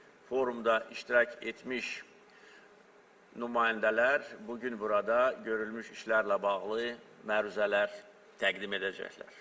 Forumda iştirak etmiş nümayəndələr bu gün burada görülmüş işlərlə bağlı məruzələr təqdim edəcəklər.